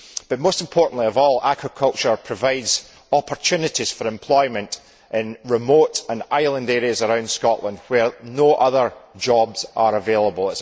But, most importantly of all, aquaculture provides opportunities for employment in remote and island areas around Scotland where no other jobs are available.